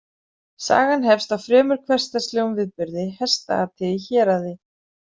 Sagan hefst á fremur hversdagslegum viðburði, hestaati í héraði.